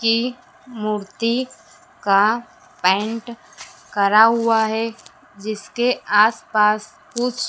की मूर्ति का पेंट करा हुआ है जिसके आसपास कुछ--